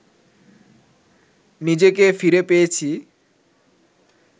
নিজেকে ফিরে পেয়েছি